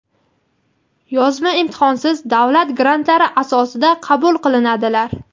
yozma imtihon)siz davlat grantlari asosida qabul qilinadilar.